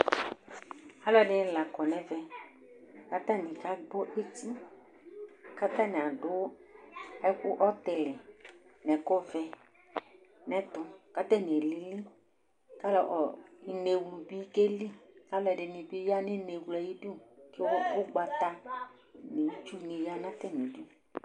alʊɛdɩnɩ lakɔ nʊ ɛmɛ kʊ aka gbɔ eti, kʊ atanɩ adʊ ɛkʊ ɔtili nʊ ɛkʊ vɛ kʊ atanɩ alili, kʊ inewlu bɩ keli, kʊ alʊɛdɩnɩ bɩ ta nʊ inewlu yɛ ay'idu, kʊ itsu nʊ ugbata nɩ ya nʊ atamidu